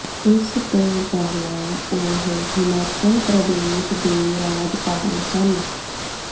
ਇਸ ਤੋਂ ਪਹਿਲਾਂ ਉਹ ਹਿਮਾਚਲ ਪ੍ਰਦੇਸ਼ ਦੇ ਰਾਜਪਾਲ ਸਨ